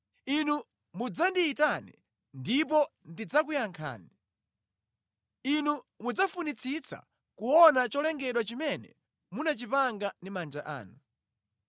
Inu mudzandiyitane ndipo ndidzakuyankhani; inu mudzafunitsitsa kuona cholengedwa chimene munachipanga ndi manja anu.